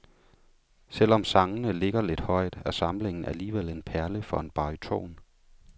Selv om sangene ligger lidt højt, er samlingen alligevel en perle for en baryton.